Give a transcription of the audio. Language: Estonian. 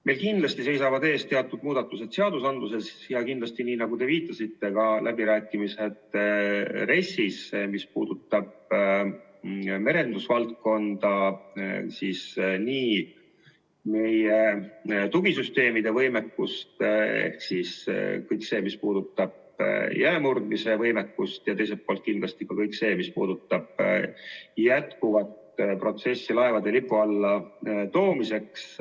Meil kindlasti seisavad ees teatud muudatused seadustes ja kindlasti, nii nagu te viitasite, ka läbirääkimised RES-is seoses merendusvaldkonnaga ja meie tugisüsteemide võimekusega, ehk siis kõik see, mis puudutab jäämurdmise võimekust, ja teiselt poolt ka kõik see, mis puudutab laevade Eesti lipu alla toomist.